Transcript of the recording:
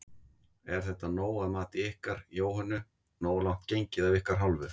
Er þetta nóg að mati ykkar Jóhönnu, nógu langt gengið af ykkar hálfu?